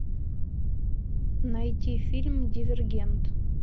найти фильм дивергент